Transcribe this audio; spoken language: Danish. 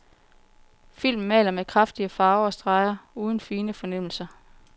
Filmen maler med kraftige farver og streger, uden fine fornemmelser.